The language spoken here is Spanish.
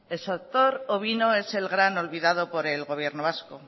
el sector ovino es el gran olvidado por el gobierno vasco